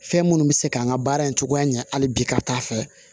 Fɛn minnu bɛ se k'an ka baara in cogoya ɲɛ hali bi ka taa fɛ